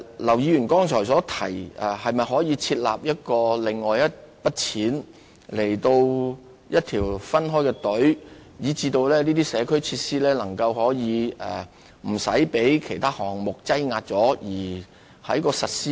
劉議員剛才提到，可否另設一筆款項或另設一條申請隊伍，讓社區設施不會因被其他項目搶先而推遲實施。